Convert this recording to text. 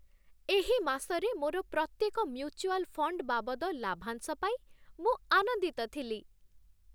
ଏହି ମାସରେ ମୋର ପ୍ରତ୍ୟେକ ମ୍ୟୁଚୁଆଲ ଫଣ୍ଡ ବାବଦ ଲାଭାଂଶ ପାଇ ମୁଁ ଆନନ୍ଦିତ ଥିଲି।